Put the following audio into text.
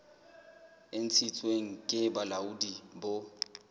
e ntshitsweng ke bolaodi bo